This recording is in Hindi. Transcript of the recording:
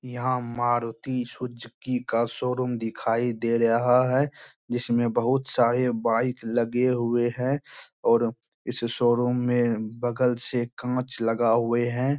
यहां मारुति सुजकी का शोरूम दिखाई दे रहा है जिसमे बहुत सारे बाइक लगे हुए है और इस शोरूम मे बगल से कांच लगा हुए है।